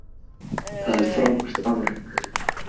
Það er frábært afrek.